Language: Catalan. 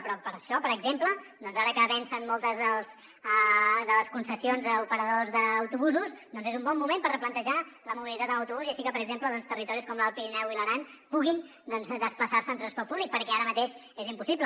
però per això per exemple doncs ara que vencen moltes de les concessions a operadors d’autobusos doncs és un bon moment per replantejar la mobilitat en autobús així que per exemple territoris com l’alt pirineu i l’aran puguin desplaçar se en transport públic perquè ara mateix és impossible